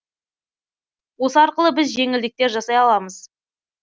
осы арқылы біз жеңілдіктер жасай аламыз